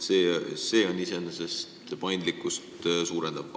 See on iseenesest paindlikkust suurendav.